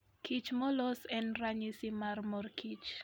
Kich molos en ranyisi mar morkich.